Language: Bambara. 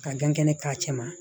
Ka kɛnɛ k'a cɛ ma